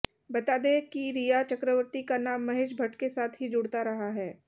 बता दें कि रिया चक्रवर्ती का नाम महेश भट्ट के साथ ही जुड़ता रहा है